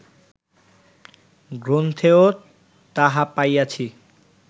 গ্রন্থেও তাহা পাইয়াছি